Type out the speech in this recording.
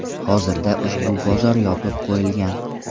Hozirda ushbu bozor yopib qo‘yilgan.